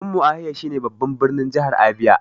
Umuahia shi ne babban birnin jahar Abia